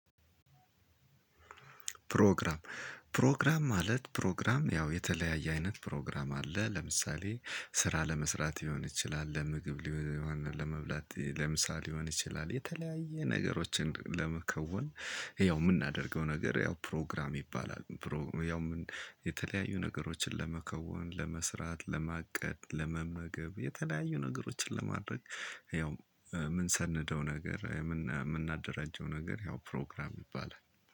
ፕሮግራም ፕሮግራም ማለት ፕሮግራም ያው የተለያየ አይነት ፕሮግራም አለ። ለምሳሌ ስራ ለመስራት ሊሆን ይችላል ለምግብ ሊሆን ለመብላት ለምሳ ሊሆን ይችላል የተለያየ ነገሮችን ለመከወን። ያው የምናደርገው ነገር ያው ፕሮግራም ይባላል። ያው የተለያዩ ነገሮችን ለመከወን ለመስራት ለማቀድ ለመመገብ የተለያዩ ነገሮችን ለማድረግ። ያው የምንሰነደው ነገር የምናደራጀው ነገር ያው ፕሮግራም ይባላል።